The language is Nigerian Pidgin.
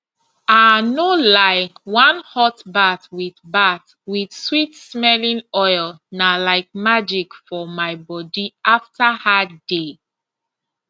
ah no lie one hot bath with bath with sweetsmelling oil na like magic for my body after hard day